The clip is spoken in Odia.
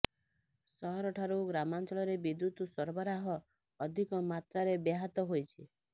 ସହର ଠାରୁ ଗ୍ରାମାଞ୍ଚଳରେ ବିଦ୍ୟୁତ ସରାବରାହ ଅଧିକ ମାତ୍ରାରେ ବ୍ୟାହତ ହୋଇଛି